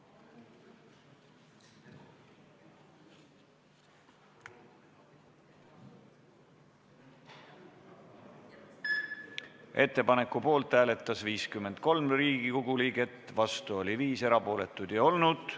Hääletustulemused Ettepaneku poolt hääletas 53 Riigikogu liiget, vastu oli 5, erapooletuid ei olnud.